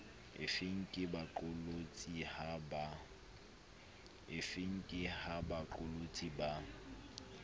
efeng ke ha baqolotsi ba